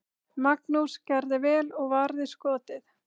Magnús gerði vel og varði skotið.